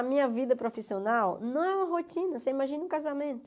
A minha vida profissional não é uma rotina, você imagina um casamento.